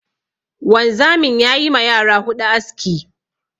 Wanzamin ya yi ma yara huɗu aski.